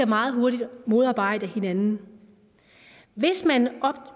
meget hurtigt modarbejde hinanden hvis man